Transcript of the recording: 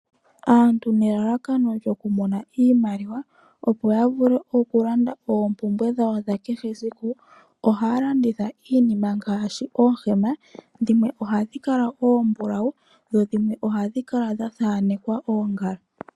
Aantu nelalakano lyokumona iimaliwa, opo ya vule okulanda oompumbwe dhawo dha kehe esiku, ohaya landitha iinima ngaashi oohema. Dhimwe ohadhi kala oombulawu, dho dhimwe ohadhi kala dha thaanekwa oongala.